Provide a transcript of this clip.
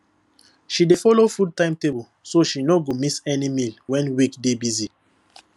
she dey follow food timetable so she no go miss any meal when week dey busy